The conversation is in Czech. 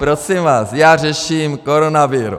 Prosím vás, já řeším koronavirus.